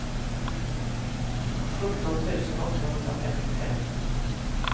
sjutton tusen åttahundrafemtiofem